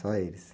Só eles?